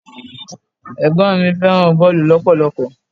Ẹ̀gbọ́n mi fẹ́ràn boolu lọpọlọpọ.